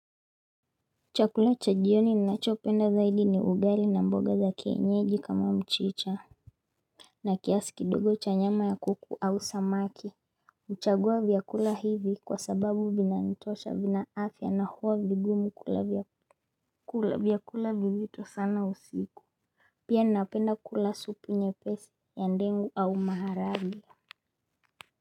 Chakula cha jioni ninachopenda zaidi ni ugali na mboga za kienyeji kama mchicha. Na kiasi kidogo cha nyama ya kuku au samaki huchagua vyakula hivi kwa sababu vinanitosha vina afya na huwa vigumu kula vyakula vizito sana usiku. Pia ninapenda kula supu nyepesi ya ndengu au maharage.